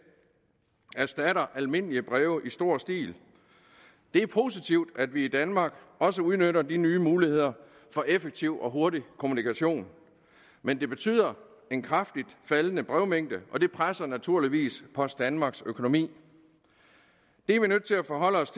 erstatter almindelige breve i stor stil det er positivt at vi i danmark også udnytter de nye muligheder for effektiv og hurtig kommunikation men det betyder en kraftigt faldende brevmængde og det presser naturligvis post danmarks økonomi det er vi nødt til at forholde os